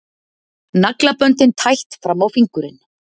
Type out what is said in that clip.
Naglaböndin tætt fram á fingurinn.